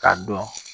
K'a dɔn